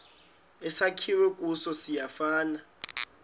esakhiwe kuso siyafana